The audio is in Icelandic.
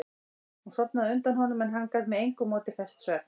Hún sofnaði á undan honum en hann gat með engu móti fest svefn.